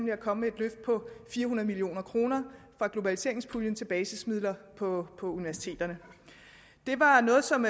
der kom et løft på fire hundrede million kroner fra globaliseringspuljen til basismidlerne på universiteterne det var noget som